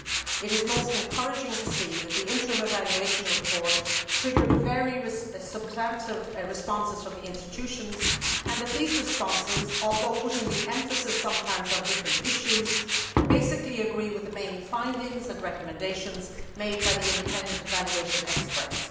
It is most encouraging to see that the interim evaluation report triggered very substantive responses from the institutions and that these responses, although putting the emphasis sometimes on different issues, basically agree with the main findings and recommendations made by the independent evaluation experts.